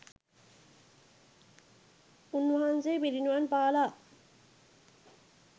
උන්වහන්සේ පිරිනිවන්පාලා